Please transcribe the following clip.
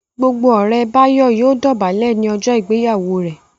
Gbogbo ore Bayo yíò dobale ní ojó ìgbéyàwó rẹ.